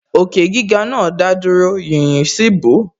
Òkè gíga náà dádúró, yīyí sì bò ó